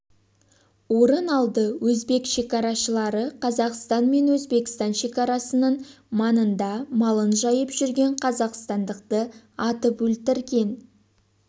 орын алды өзбек шекарашылары қазақстан мен өзбекстан шекарасының маңында малың жайып жүрген қазақстандықты атып өлтірген